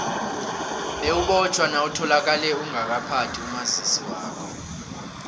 bewubotjhwa nawutholakale ungakaphathi umazisi wakho